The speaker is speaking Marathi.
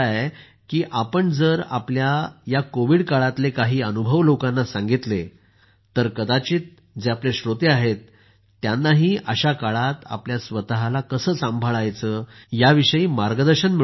की आपण जर आपल्या या त्रासाच्या काळातले काही अनुभव लोकांना सांगितले तर कदाचित जे श्रोते आहेत त्यांनाही अशा वेळी आपल्या स्वतःला कसं सांभाळायचं याविषयी मार्गदर्शन मिळू शकेल